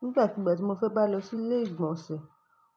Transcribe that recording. Nígbàkigbà tí mo fẹ́ bá lọ sí ilé ìgbọ̀nsẹ̀,